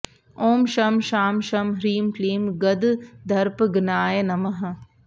ॐ शं शां षं ह्रीं क्लीं गददर्पघ्नाय नमः